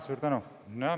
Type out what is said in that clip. Suur tänu!